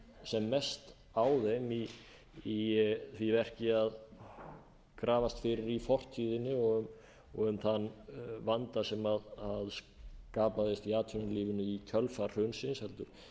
sem mest á þeim í því verki að grafast fyrir í fortíðinni og um þann vanda sem skapaðist í atvinnulífinu i kjölfar hrunsins heldur